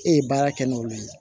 E ye baara kɛ n'olu ye